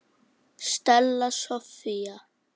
Stella Soffía.